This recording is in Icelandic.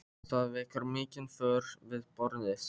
Það vekur mikinn fögnuð við borðið.